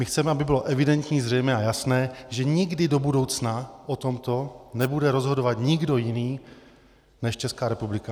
My chceme, aby bylo evidentní, zřejmé a jasné, že nikdy do budoucna o tomto nebude rozhodovat nikdo jiný než Česká republika.